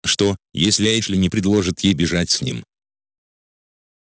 что если эшли не предложит ей бежать с ним